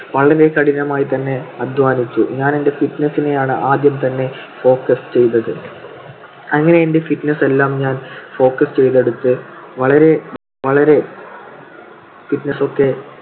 വളരെ കഠിനമായി തന്നെ അധ്വാനിച്ചു. ഞാൻ എൻ്റെ fitness നെയാണ് ആദ്യം തന്നെ focus ചെയ്തത്. അങ്ങിനെ എന്റെ fitness എല്ലാം ഞാൻ focus ചെയ്തെടുത്ത് വളരെ ~ വളരെ fitness ഒക്കെ